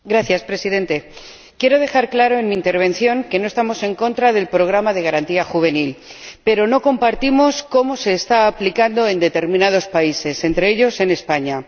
Señor Presidente, quiero dejar claro en mi intervención que no estamos en contra del programa de Garantía Juvenil, pero no compartimos cómo se está aplicando en determinados países, entre ellos España.